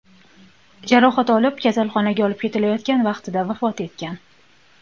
jarohat olib, kasalxonaga olib ketilayotgan vaqtida vafot etgan.